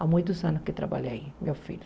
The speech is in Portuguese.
Há muitos anos que trabalha aí, meu filho.